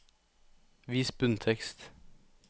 Vis bunntekst